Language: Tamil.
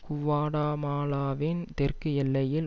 குவாடமாலாவின் தெற்கு எல்லையில்